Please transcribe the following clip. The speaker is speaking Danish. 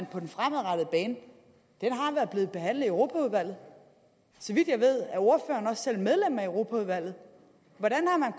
på den fremadrettede bane har været behandlet i europaudvalget så vidt jeg ved er ordføreren også selv medlem af europaudvalget hvordan har